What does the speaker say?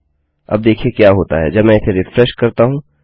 अब देखिये क्या होता है जब मैं इसे रिफ्रेश करता हूँ